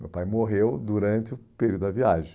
Meu pai morreu durante o período da viagem.